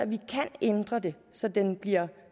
vi kan ændre det så den bliver